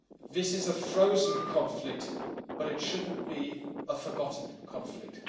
This is a frozen conflict, but it shouldn't be a forgotten conflict.